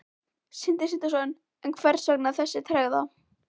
Sindri Sindrason: En hvers vegna þessi tregða?